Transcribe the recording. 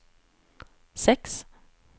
sex